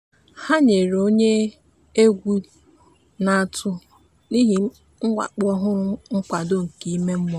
ha nyere onye egwu na-atụ n'ihi mwakpo ọhụrụ nkwado nke ime mmụọ.